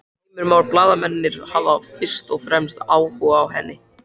Heimir Már: Blaðamennirnir hafa fyrst og fremst áhuga á henni?